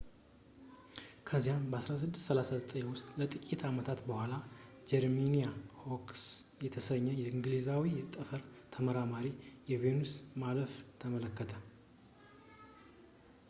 ከዚያም 1639 ውስጥ ከጥቂት ዓመታት በኋላ ጀረሚያ ሆሮክስ የተሰኘ እንግሊዛዊ የጠፈር ተመራማሪ የቬኑስ ማለፍን ተመለከተ